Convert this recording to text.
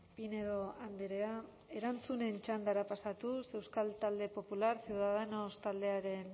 pinedo andrea erantzunen txandara pasatuz euskal talde popular ciudadanos taldearen